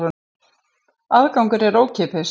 Aðgangur er ókeypis